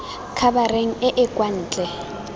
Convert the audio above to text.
khabareng e e kwa ntle